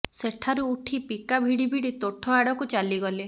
ସେଠାରୁ ଉଠି ପିକା ଭିଡ଼ି ଭିଡ଼ି ତୋଠ ଆଡ଼କୁ ଚାଲିଗଲେ